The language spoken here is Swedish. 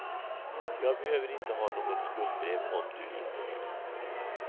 Jag behöver inte ha något skuldebrev om du inte vill.